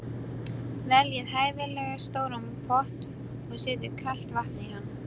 Veljið hæfilega stóran pott og setjið kalt vatn í hann.